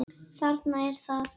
Þarna er það!